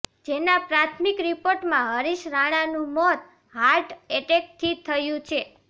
જેના પ્રાથમિક રીપોર્ટમાં હરિશ રાણાનું મોત હાર્ટ એટેક થી થયું છે